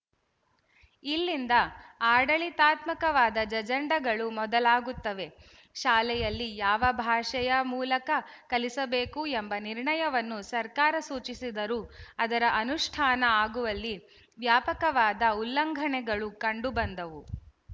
ಇಲ್ಲಿಂದ ಆಡಳಿತಾತ್ಮಕವಾದ ಜಂಜಡಗಳು ಮೊದಲಾಗುತ್ತವೆ ಶಾಲೆಯಲ್ಲಿ ಯಾವ ಭಾಷೆಯ ಮೂಲಕ ಕಲಿಸಬೇಕು ಎಂಬ ನಿರ್ಣಯವನ್ನು ಸರ್ಕಾರ ಸೂಚಿಸಿದರೂ ಅದರ ಅನುಷ್ಠಾನ ಆಗುವಲ್ಲಿ ವ್ಯಾಪಕವಾದ ಉಲ್ಲಂಘನೆಗಳು ಕಂಡುಬಂದವು